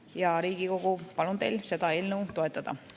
Hea Riigikogu, palun teil seda eelnõu toetada.